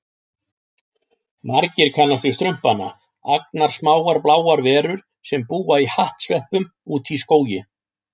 Margir kannast við Strumpana, agnarsmáar bláar verur sem búa í hattsveppum úti í skógi.